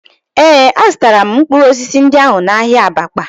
Ee, azụtara m mkpụrụ osisi ndị ahụ n'ahịa Abakpa